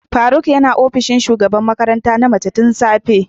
Faruk yana opishin shugaban makaranta na mace tun safe.